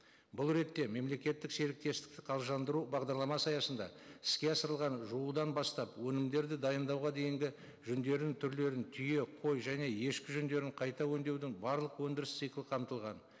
бұл ретте мемлекеттік серіктестікті бағдарламасы аясында іске асырылған жуудан бастап өнімдерді дайындауға дейінгі жүндердің түрлерін түйе қой және ешкі жүндерін қайта өңдеудің барлық өндіріс циклы қамтылған